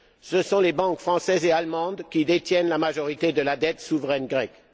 Ce sont les banques françaises et allemandes qui détiennent la majorité de la dette souveraine grecque.